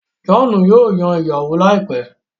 John yíò Yàn ìyàwó láìpé.